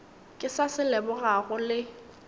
ke sa se lebogago le